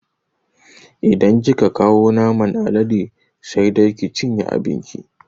Idan kika kawo naman alade sai dai ki cinye abin ki